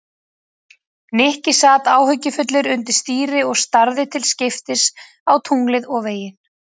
Nikki sat áhyggjufullur undir stýri og starði til skiptist á tunglið og veginn.